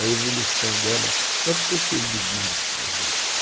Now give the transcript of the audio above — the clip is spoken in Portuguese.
A evolução dela, ela ficou se exibindo para a gente, né?